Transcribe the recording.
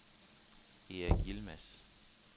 Erik Yilmaz